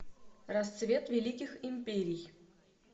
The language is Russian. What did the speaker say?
расцвет великих империй